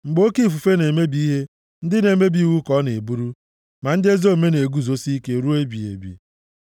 Mgbe oke ifufe na-emebi ihe, ndị na-emebi iwu ka ọ na-eburu; ma ndị ezi omume na-eguzosi ike ruo ebighị ebi.